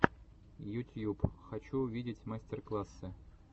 ютьюб хочу увидеть мастер классы